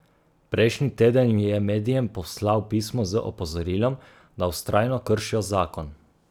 Prejšnji teden je medijem poslal pismo z opozorilom, da vztrajno kršijo zakon.